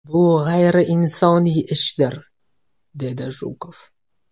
Bu g‘ayriinsoniy ishdir”, dedi Jukov.